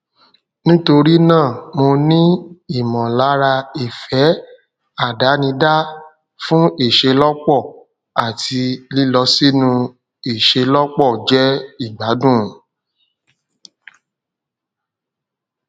nítorí náà mo ní ìmọlára ìfẹ àdánidá fún ìṣelọpọ àti lílọ sínú ìṣelọpọ jẹ ìgbádùn